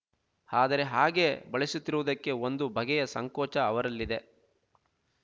ಆದರೆ ಹಾಗೆ ಬಳಸುತ್ತಿರುವುದಕ್ಕೆ ಒಂದು ಬಗೆಯ ಸಂಕೋಚ ಅವರಲ್ಲಿದೆ